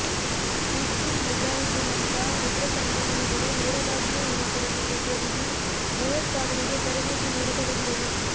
ಹಿಜ್ಬುಲ್ ಮುಜಾಹಿದೀನ್ನಂಥ ಉಗ್ರ ಸಂಘಟನೆಗಳು ನೇರವಾಗಿಯೇ ಯುವಕರನ್ನು ಪ್ರಚೋದಿಸಿ ಭಯೋತ್ಪಾದನೆಗೆ ತರಬೇತಿ ನೀಡತೊಡಗಿದವು